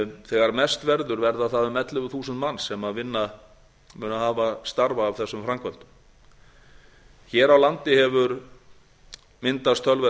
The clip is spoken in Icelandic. þegar mest verður verða það um ellefu þúsund manns sem munu hafa starfa af þessum framkvæmdum hér á landi hefur myndast töluverð